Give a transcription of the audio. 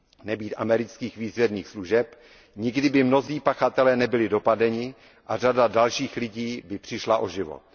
Nebýt amerických výzvědných služeb, nikdy by mnozí pachatelé nebyli dopadeni a řada dalších lidí by přišla o život.